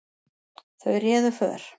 Þau réðu för.